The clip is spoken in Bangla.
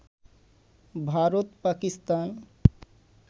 ভারত, পাকিস্তান